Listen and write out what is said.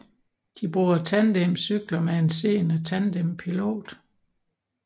De bruger tandemcykler med en seende tandempilot